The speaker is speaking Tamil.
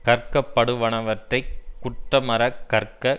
கற்கப்படுவனவற்றைக் குற்றமற கற்க